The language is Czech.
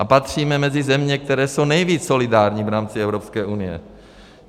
A patříme mezi země, které jsou nejvíc solidární v rámci Evropské unie.